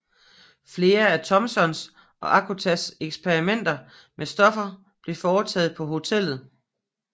Flere af Thomsons og Acostas eksperimenter med stoffer blev foretaget på hotellet